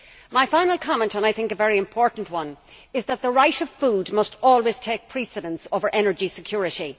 My final comment and, I think, a very important one is that the right to food must always take precedence over energy security.